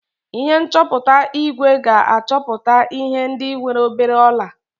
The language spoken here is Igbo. Ihe nchọpụta igwe ga-achọpụta ihe ndị nwere obere ọla